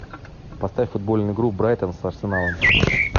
поставь футбольную игру брайтон с арсеналом